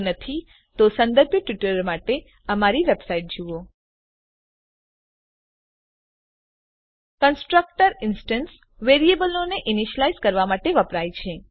જો નથી તો સંદર્ભિત ટ્યુટોરીયલો માટે બતાવ્યા મુજબ અમારી વેબસાઈટ જુઓ httpwwwspoken tutorialઓર્ગ કન્સ્ટ્રક્ટર ઇન્સ્ટેન્સ વેરીએબલોને ઈનીશ્યલાઈઝ કરવા માટે વપરાય છે